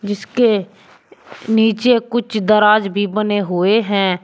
जिसके नीचे कुछ दराज भी बने हुए हैं।